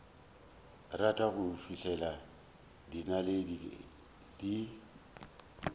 rata go fihlela dinaledi di